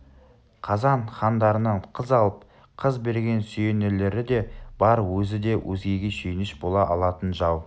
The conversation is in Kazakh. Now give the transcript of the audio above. қазан хандарынан қыз алып қыз берген сүйенерлері де бар өзі де өзгеге сүйеніш бола алатын жау